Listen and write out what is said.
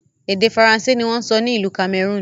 Èdè Faransé ni wọn ń sọ ní ìlú Cameroon